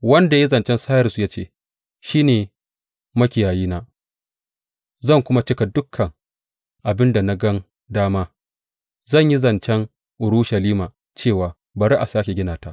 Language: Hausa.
wanda ya yi zancen Sairus ya ce, Shi ne makiyayina zan kuma cika dukan abin da na gan dama; zai yi zancen Urushalima cewa, Bari a sāke gina ta,